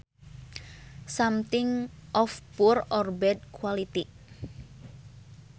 Something of poor or bad quality